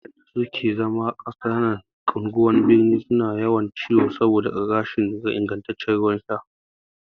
Dayawa waƴanda suke zama a ƙananan unguwannin birni suna yawan ciwo saboda rashin ingantaccen ruwan sha